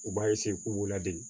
U b'a k'u b'u ladege